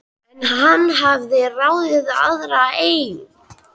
En hann hafði ráðið aðra einnig.